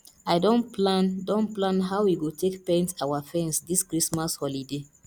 i don plan don plan how we go take paint our fence this christmas holiday